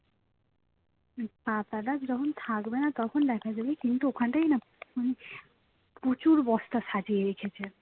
পাতাটা যখন থাকবে না তখন দেখা যাবে কিন্তু ওখানটায় না প্রচুর বস্তা সাজিয়ে রেখেছে